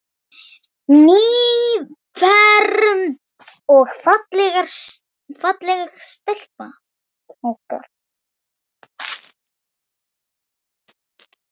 Nýfermd og falleg stelpan okkar.